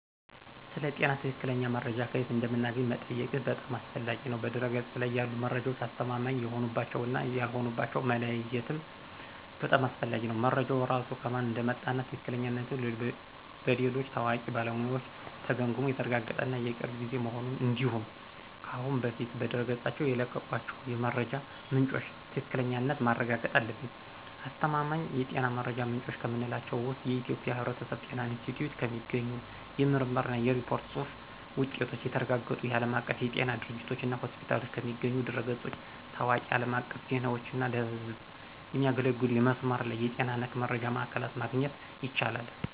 ስለ ጤና ትክክለኛ መረጃ ከየት እንደምናገኝ መጠየቅህ በጣም አስፈላጊ ነው። በድህረ-ገጽ ላይ ያሉ መረጃዎች አስተማማኝ የሆኑባቸውን እና ያልሆኑባቸውን መለየትም በጣም አስፈላጊ ነው። መረጃው ራሱ ከማን እንደመጣ እና ትክክለኛነቱ በሌሎች ታዋቂ ባለሙያዎች ተገምግሞ የተረጋገጠ እና የቅርብ ጊዜ መሆኑን እንዲሁም ከአሁን በፊት በድረገጾቻቸው የለቀቋቸው የመረጃ ምንጮች ትክክለኛነት ማረጋገጥ አለብን። አስተማማኝ የጤና መረጃ ምንጮች ከምንላቸው ውስጥ የኢትዮጵያ የሕብረተሰብ ጤና ኢንስቲትዩት ከሚገኙ የምርምር እና የሪፖርት ጽሁፍ ውጤቶች፣ የተረጋገጡ የዓለም አቀፍ የጤና ድርጅቶችና ሆስፒታሎች ከሚገኙ ድረ-ገጾች፣ ታዋቂ አለም አቀፍ ዜናዎች እና ለህዝብ የሚያገለግሉ የመስመር ላይ የጤና ነክ መረጃ ማዕከላት ማግኘት ይቻላል።